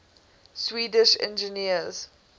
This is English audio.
swedish engineers